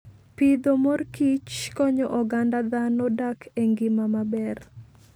Pidho mor kich konyo oganda dhano dak e ngima maber.